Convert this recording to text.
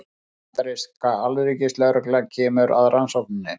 Bandaríska alríkislögreglan kemur að rannsókninni